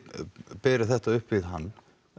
berið þetta upp við hann